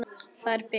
Þær bila.